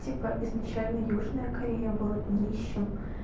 типа изначально южная корея была днищем